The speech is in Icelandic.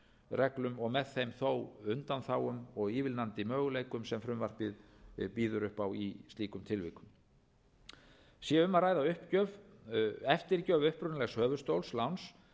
reglum og með þeim þó undanþágum og ívilnandi möguleikum sem frumvarpið býður upp á í slíkum tilvikum sé um að ræða eftirgjöf upprunalegs höfuðstóls láns